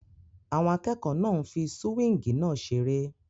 Àwọn akẹ́kọ̀ọ́ náà ń fí súwíngì náà seré